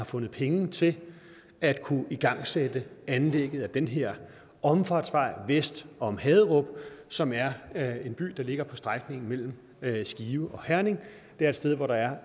fundet penge til at kunne igangsætte anlægget af den her omfartsvej vest om haderup som er er en by der ligger på strækningen mellem skive og herning det er et sted hvor der